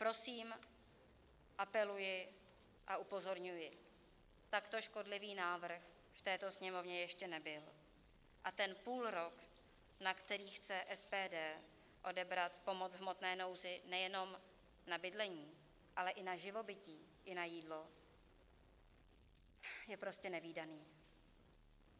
Prosím, apeluji a upozorňuji, takto škodlivý návrh v této Sněmovně ještě nebyl a ten půlrok, na který chce SPD odebrat pomoc v hmotné nouzi nejenom na bydlení, ale i na živobytí i na jídlo, je prostě nevídaný.